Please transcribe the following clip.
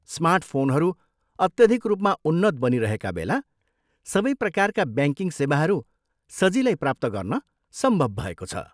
स्मार्टफोनहरू अत्यधिक रूपमा उन्नत बनिरहेका बेला, सबै प्रकारका ब्याङ्किङ सेवाहरू सजिलै प्राप्त गर्न सम्भाव भएको छ।